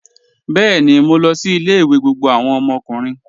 Bẹẹni, mó lọ sí ilẹ̀-ìwé gbogbo awọn ọmọkùnrin.